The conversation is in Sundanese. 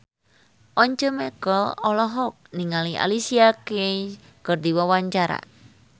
Once Mekel olohok ningali Alicia Keys keur diwawancara